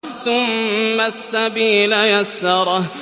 ثُمَّ السَّبِيلَ يَسَّرَهُ